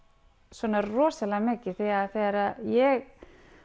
svona rosalega mikið því þegar ég